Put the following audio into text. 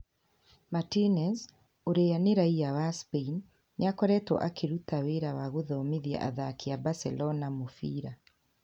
Martinez, ũrĩa ni raiya wa Spain, nĩ akoretwo akĩruta wĩra wa gũthomithia athaki a Barcelona mũbira.